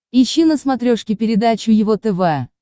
ищи на смотрешке передачу его тв